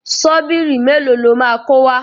Ṣọ́bìrì mélòó lo máa kó wá?